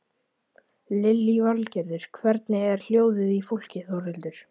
Lillý Valgerður: Hvernig er hljóðið í fólki Þórhildur?